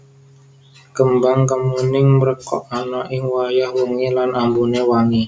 Kembang kemuning mrekok ana ing wayah wengi lan ambuné wangi